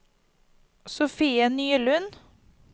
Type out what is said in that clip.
Sofie Nylund